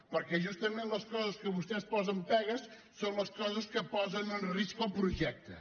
perquè justament les coses que vostès hi posen pegues són les coses que posen en risc el projecte